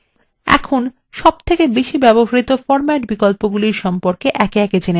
এখন বহুল ব্যবহৃত বিন্যাস বিকল্পগুলির সম্পর্কে একে একে জেনে নেওয়া যাক